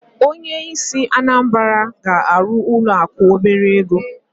Onye isi obodo Anambra ga arụ ụlọ akụ obere ego.